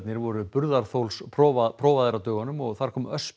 voru burðarþolsprófaðir á dögunum og þar kom